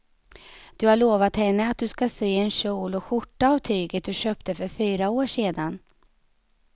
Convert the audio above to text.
Du har lovat henne att du ska sy en kjol och skjorta av tyget du köpte för fyra år sedan.